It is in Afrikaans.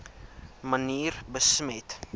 manier besmet